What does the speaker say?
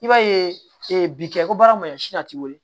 I b'a ye bi kɛ ko baara maɲɔsi a ti wili